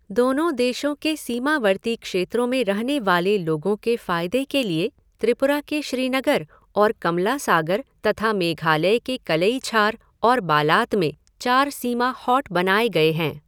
दोनों देशों के सीमावर्ती क्षेत्रों में रहने वाले लोगों के फायदे के लिए त्रिपुरा के श्रीनगर और कमलासागर तथा मेघालय के कलईछार और बालात में चार सीमा हॉट बनाए गए हैं।